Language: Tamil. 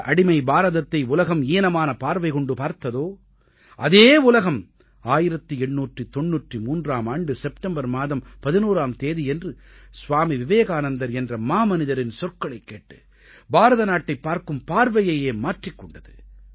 எந்த அடிமை பாரதத்தை உலகம் ஈனமான பார்வை பார்த்ததோ அதே உலகம் 1893ஆம் ஆண்டு செப்டெம்பர் மாதம் 11ஆம் தேதியன்று ஸ்வாமி விவேகானந்தர் என்ற மாமனிதரின் சொற்களைக் கேட்டு பாரத நாட்டைப் பார்க்கும் பார்வையையே மாற்றிக் கொண்டது